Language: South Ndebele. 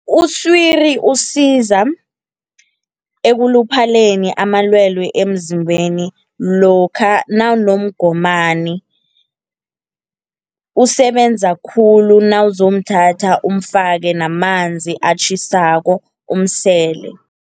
Usiri usiza, ekuluphaleni amalwelwe emzimbeni lokha nawunomgomani. Usebenza khulu nawuzomthatha umfake namanzi atjhisako umsele.